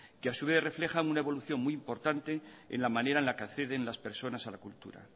que a su vez reflejan una evolución muy importante en la manera en la que acceden las personas a la cultura